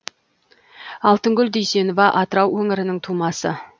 алтынгүл дүйсенова атырау өңірінің тумасы